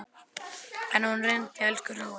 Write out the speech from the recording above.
En hún reyndi, elsku hróið.